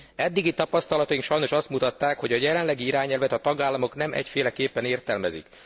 Eddigi tapasztalataink sajnos azt mutatták, hogy a jelenlegi irányelvet a tagállamok nem egyféleképpen értelmezik.